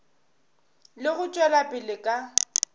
le go tšwela pele ka